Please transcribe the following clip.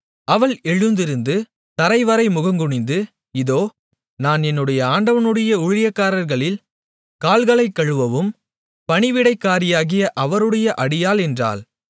அவள் எழுந்திருந்து தரைவரை முகங்குனிந்து இதோ நான் என்னுடைய ஆண்டவனுடைய ஊழியக்காரர்களின் கால்களைக் கழுவும் பணிவிடைக்காரியாகிய அவருடைய அடியாள் என்றாள்